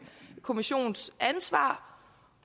kommissions ansvar